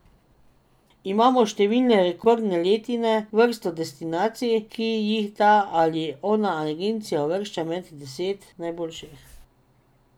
Imamo številne rekordne letine, vrsto destinacij, ki jih ta ali ona agencija uvršča med deset najboljših.